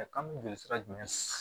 kan mi joli sira jumɛn